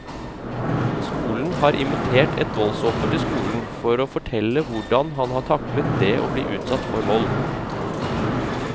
Skolen har invitert et voldsoffer til skolen for å fortelle hvordan han har taklet det å bli utsatt for vold.